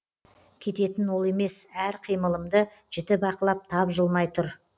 кететін ол емес әр қимылымды жіті бақылап тапжылмай тұр